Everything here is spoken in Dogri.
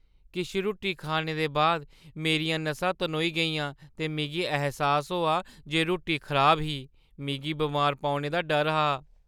किश रुट्टी खाने दे बाद मेरियां नसां तनोई गेइयां ते मिगी ऐह्‌सास होआ जे रुट्टी खराब ही। मिगी बमार पौने दा डर हा।